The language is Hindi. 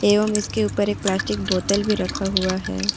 एवं इसके ऊपर एक प्लास्टिक बोतल भी रखा हुआ है।